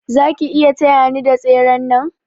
Zaki iya taya ni da tseren nan?